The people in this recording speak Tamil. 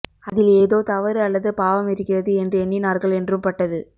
அதில் ஏதோ தவறு அல்லது பாவம் இருக்கிறது என்று எண்ணினார்கள் என்றும் பட்டது